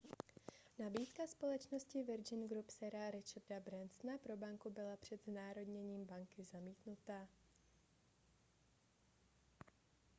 nabídka společnosti virgin group sira richarda bransona pro banku byla před znárodněním banky zamítnuta